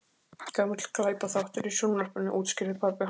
Gamall glæpaþáttur í sjónvarpinu- útskýrði pabbi hans.